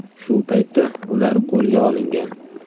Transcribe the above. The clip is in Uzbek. Shu paytda ular qo‘lga olingan.